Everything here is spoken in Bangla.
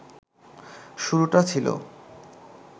শুরুটা ছিল